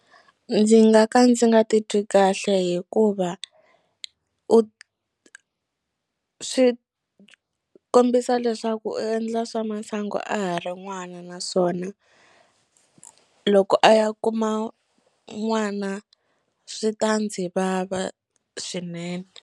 Ndzi nga ka ndzi nga titwi kahle hikuva u swi kombisa leswaku u endla swa masangu a ha ri n'wana naswona loko a ya kuma n'wana swi ta ndzi vava swinene.